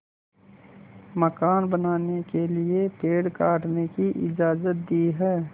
मकान बनाने के लिए पेड़ काटने की इजाज़त दी है